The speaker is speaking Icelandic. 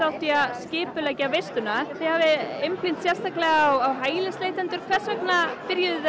skipuleggur veisluna þið hafið einblínt sérstaklega á hælisleitendur hvers vegna byrjuðuð þið